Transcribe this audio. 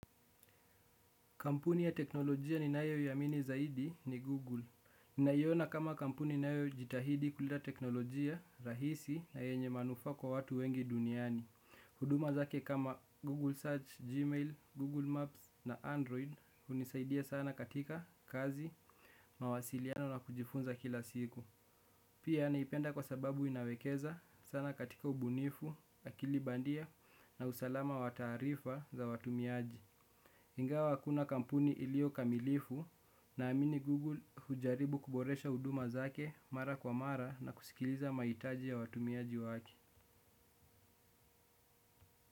Kampuni ya teknolojia ninayoiamini zaidi ni Google. Ninaiona kama kampuni inayo jitahidi kuleta teknolojia rahisi na yenye manufaa kwa watu wengi duniani. Huduma zake kama Google Search, Gmail, Google Maps na Android hunisaidia sana katika kazi, mawasiliano na kujifunza kila siku. Pia naipenda kwa sababu inawekeza sana katika ubunifu, akili bandia na usalama wa taarifa za watumiaji. Ingawa hakuna kampuni iliyo kamilifu naamini Google hujaribu kuboresha huduma zake mara kwa mara na kusikiliza mahitaji ya watumiaji wake.